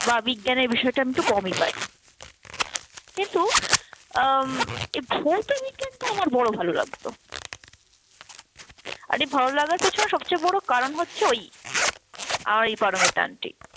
বা বিষয়টা আমি একটু কমই পারি। কিন্তু উম এই ভৌতবিজ্ঞানটা আমার বড় ভালো লাগতো। আর এই ভালোলাগার পেছনে সবচেয়ে বড় কারণ হচ্ছে ওই আমার এই পারমিতা আন্টি।